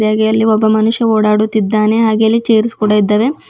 ಹಾಗೆ ಅಲ್ಲಿ ಒಬ್ಬ ಮನುಷ್ಯ ಓಡಾಡುತ್ತಿದ್ದಾನೆ ಆಗೇ ಅಲ್ಲಿ ಚೇರ್ಸ್ ಕೂಡ ಇದ್ದವೆ.